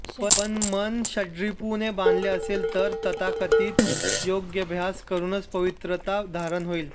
पण मन षड्रिपू ने बांधलं असेल तर तथाकथित योगाभ्यास करूनच पवित्रता धारण होईल